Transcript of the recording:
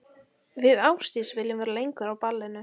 Við Ásdís viljum vera lengur á ballinu.